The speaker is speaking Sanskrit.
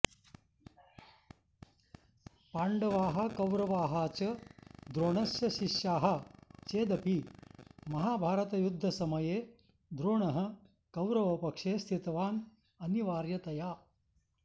पाण्डवाः कौरवाः च द्रोणस्य शिष्य़ाः चेदपि महाभारतयुद्धसमये द्रोणः कौरवपक्षे स्थितवान् अनिवार्यतया